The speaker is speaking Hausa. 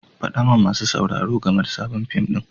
Faɗa wa masu sauraro game da sabon fim ɗin.